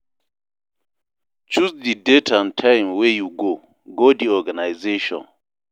Choose di date and time wey you go, go di organisation